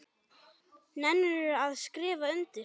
Nennirðu að skrifa undir?